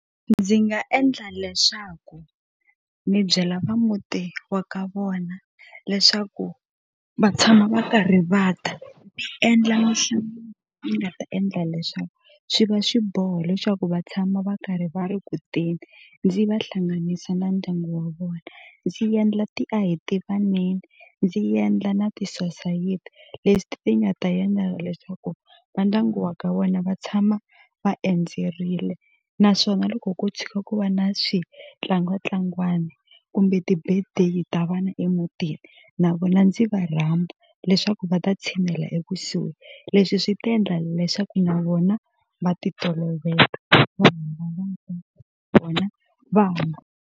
Ndzi nga endla leswaku ni byela va muti wa ka vona leswaku va tshama va karhi va ta endla ni nga ta endla leswaku swi va xiboho leswaku va tshama va karhi va ri kuteni ndzi va hlanganisa na ndyangu wa vona ndzi yendla ti a hi tivaneni ndzi yendla na tisosayiti ti nga ta yendla leswaku va ndyangu wa ka wena va tshama va endzerile naswona loko ko tshuka ku va na switlangwatlangwani kumbe ti-birthday ta vana emutini na vona ndzi va rhamba leswaku va ta tshinela ekusuhi leswi swi ta endla leswaku na vona va ti toloveta vona .